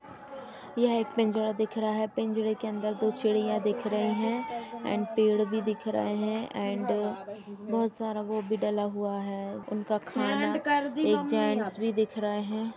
ये एक पिंजरा दिख रहा है पिंजरे के अंदर दो चिड़ियाॅं दिख रही हैं एंड पेड़ भी दिख रहे हैं एंड बहोत सारा वो भी डाला हुआ है इनका खाना और एक जेंट्स भी दिख रहे है।